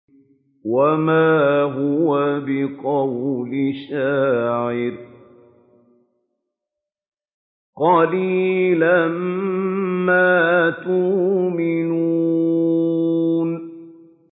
وَمَا هُوَ بِقَوْلِ شَاعِرٍ ۚ قَلِيلًا مَّا تُؤْمِنُونَ